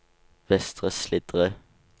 Vestre Slidre